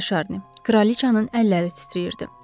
Cənab De Şarni, kraliçanın əlləri titrəyirdi.